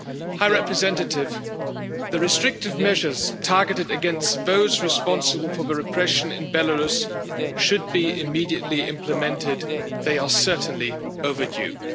High Representative, the restrictive measures targeted against those responsible for the repression in Belarus should be immediately implemented, they are certainly overdue.